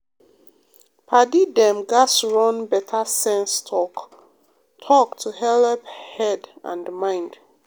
padi dem gats run better sense talk-talk to helep head and mind.